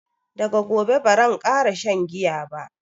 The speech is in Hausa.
daga gobe baran kara shan giya ba